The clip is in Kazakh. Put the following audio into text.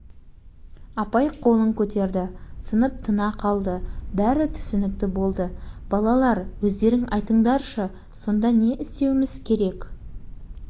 қандай жаза лайық бұл шоқанға бәріміз жабылып ұрайық сыныптан қуайық ешкім мұнымен сөйлеспесін ойнамасын директорға айтыңыз